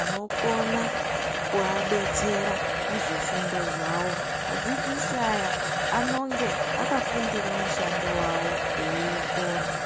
anokona kuadetsera muzvifundo zvavo adzidzisi aya anonge akafundire mushando wavo eiwukona.